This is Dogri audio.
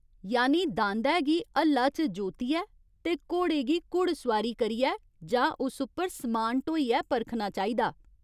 यानि दांदै गी हल्ला च जोतियै ते घोड़ै गी घुड़सुआरी करियै जां उस उप्पर समान ढोइयै परखना चाहिदा।